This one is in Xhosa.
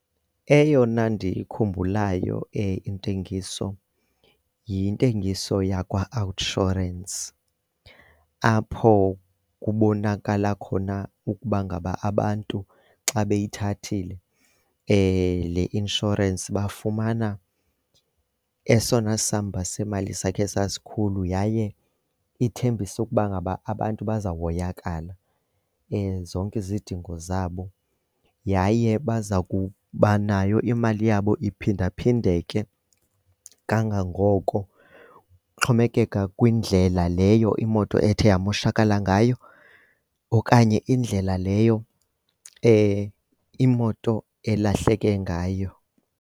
Eyona ndiyikhumbulayo intengiso yintengiso yakwaOUTsurance apho kubonakala khona ukuba ngaba abantu xa beyithathile le inshorensi bafumana esona samba semali sakhe sasikhulu. Yaye ithembisa ukuba ngaba abantu bazahoyakala, zonke izidingo zabo. Yaye baza kuba nayo, imali yabo iphindaphindeke kangangoko kuxhomekeka kwindlela leyo imoto ethe yamoshakala ngayo okanye indlela leyo imoto elahleke ngayo.